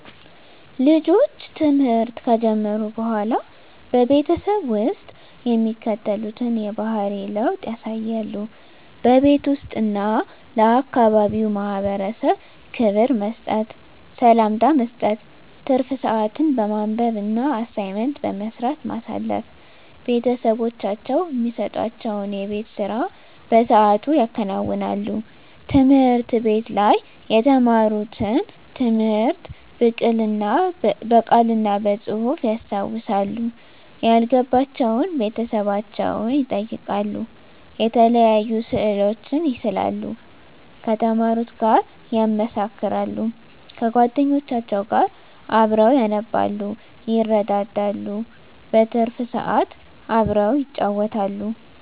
ልጆች ትምህርት ከጀመሩ በሆላ በቤተሰብ ውስጥ የሚከተሉትን የባህሪ ለውጥ ያሳያሉ:-በቤት ውስጥ እና ለአካባቢው ማህበረሰብ ክብር መስጠት፤ ሰላምታ መስጠት፤ ትርፍ ስአትን በማንበብ እና አሳይመንት በመስራት ማሳለፍ፤ ቤተሰቦቻቸው እሚሰጡዋቸውን የቤት ስራ በስአቱ ያከናውናሉ፤ ትምህርት ቤት ላይ የተማሩትን ትምህርት ብቅል እና በጹህፍ ያስታውሳሉ፤ ያልገባቸውን ቤተሰቦቻቸውን ይጠይቃሉ፤ የተለያዩ ስእሎችን ይስላሉ ከተማሩት ጋር ያመሳክራሉ፤ ከጎደኞቻቸው ጋር አብረው ያነባሉ ይረዳዳሉ። በትርፍ ስአት አብረው ይጫወታሉ።